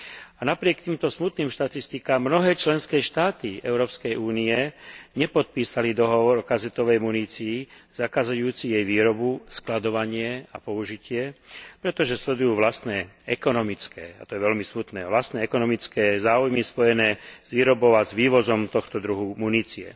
A napriek týmto smutným štatistikám mnohé členské štáty Európskej únie nepodpísali dohovor o kazetovej munícii zakazujúci jej výrobu, skladovanie a použitie, pretože sledujú vlastné ekonomické, a to je veľmi smutné, vlastné ekonomické záujmy spojené s výrobou a s vývozom tohto druhu munície.